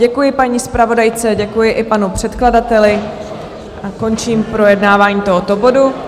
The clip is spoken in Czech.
Děkuji paní zpravodajce, děkuji i panu předkladateli a končím projednávání tohoto bodu.